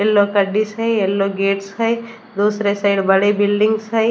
Yellow का dish है yellow gates हैं दूसरे साइड बड़े बिल्डिंगस हैं।